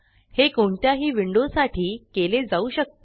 हे कोणत्याही विंडो साठी केले जाऊ शकते